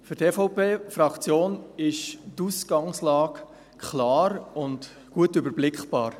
Für die EVP-Fraktion ist die Ausgangslage klar und gut überblickbar.